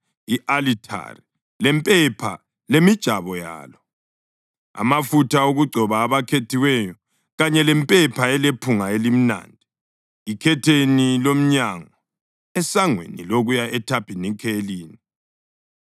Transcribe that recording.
i-alithari lempepha lemijabo yalo, amafutha okugcoba abakhethiweyo kanye lempepha elephunga elimnandi, ikhetheni lomnyango esangweni lokuya ethabanikeleni,